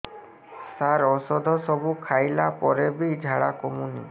ସାର ଔଷଧ ସବୁ ଖାଇଲା ପରେ ବି ଝାଡା କମୁନି